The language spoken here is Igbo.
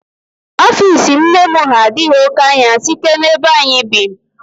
Ofiisi nne m ha adịghị oké anya site n'ebe anyị bi